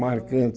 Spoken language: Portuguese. Marcante.